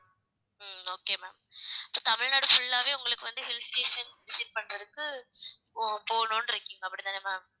ஹம் okay ma'am இப்ப Tamil Nadu full ஆவே உங்களுக்கு வந்து hill station visit பண்றதுக்கு போ~ போகணும்றீங்க அப்படித்தானே ma'am